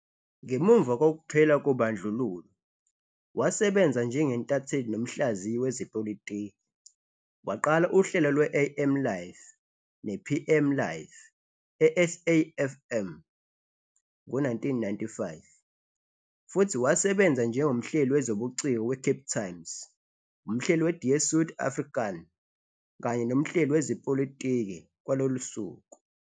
Ngemuva kokuphela kobandlululo, wasebenza njengentatheli nomhlaziyi wezepolitiki, waqala uhlelo lwe-AM Live ne-PM Live e-SAFM ngo-1995,futhi wasebenza njengomhleli wezobuciko weCape Times, umhleli we-Die Suid Afrikaan kanye nomhleli wezepolitiki kwalolusuku.